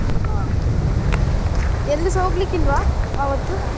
ಹಾ ಎಲ್ಲಿಸ ಹೋಗ್ಲಿಕ್ಕೆ ಇಲ್ವಾ ಆವತ್ತು?